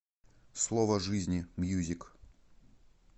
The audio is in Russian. слово жизни мьюзик